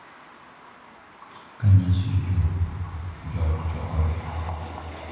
Ka nyasi chopo, joot chokore .